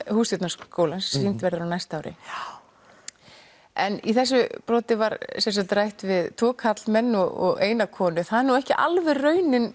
Hússtjórnarskólann sem sýnd verður á næsta ári en í þessu broti var rætt við tvo karlmenn og eina konu það er nú ekki alveg raunin